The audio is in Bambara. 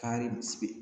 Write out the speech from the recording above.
Kari